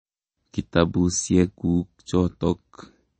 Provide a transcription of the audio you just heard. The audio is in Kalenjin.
Kitapusyek kuk chotok.